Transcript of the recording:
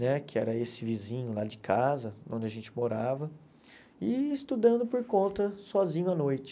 né que era esse vizinho lá de casa, onde a gente morava, e estudando por conta, sozinho, à noite.